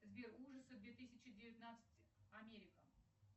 сбер ужасы две тысячи девятнадцать америка